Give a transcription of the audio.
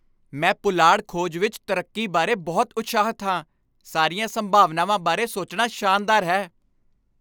ਮੈਂ ਪੁਲਾੜ ਖੋਜ ਵਿੱਚ ਤਰੱਕੀ ਬਾਰੇ ਬਹੁਤ ਉਤਸ਼ਾਹਿਤ ਹਾਂ! ਸਾਰੀਆਂ ਸੰਭਾਵਨਾਵਾਂ ਬਾਰੇ ਸੋਚਣਾ ਸ਼ਾਨਦਾਰ ਹੈ।